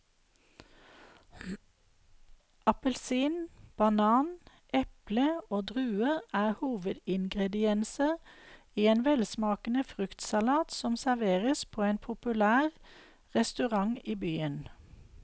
Appelsin, banan, eple og druer er hovedingredienser i en velsmakende fruktsalat som serveres på en populær restaurant i byen.